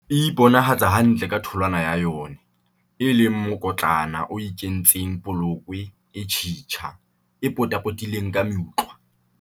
E iponahatsa hantle ka tholwana ya yona, e leng mokotlana o ikentseng polokwe e tjhitja, e potapotilweng ke meutlwa.